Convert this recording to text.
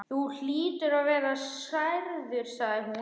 Þú hlýtur að vera særður sagði hún.